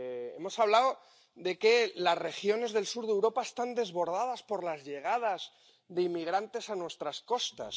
Hemos hablado de que las regiones del sur de Europa están desbordadas por las llegadas de inmigrantes a nuestras costas.